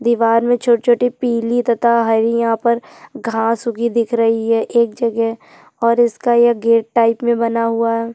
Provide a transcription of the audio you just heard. दिवार मे छोटी - छोटी पिली तथा हरी यहाँ पर घास उगी दिख रही है एक जगह और इसका ये गेट टाईप मे बना हुआ है।